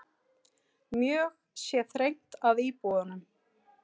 Mjög sé þrengt að íbúunum.